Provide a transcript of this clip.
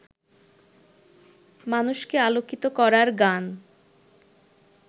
মানুষকে আলোকিত করার গান